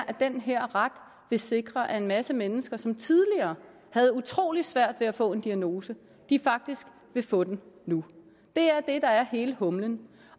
at den her ret vil sikre at en masse mennesker som tidligere havde utrolig svært ved at få en diagnose faktisk vil få den nu det er det der er hele humlen